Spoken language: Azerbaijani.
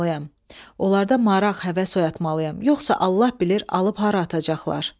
Onlarda maraq, həvəs oyatmalıyam, yoxsa Allah bilir alıb hara atacaqlar.